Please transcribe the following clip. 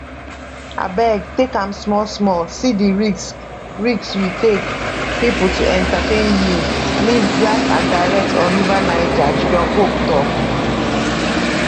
abeg take am small small see di risk risk we take pipo to entertain you live and direct on river niger junior pope tok